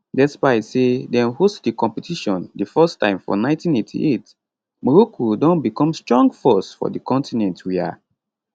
despite say dem host di competition di first time for 1988 morocco don become strong force for di continent wia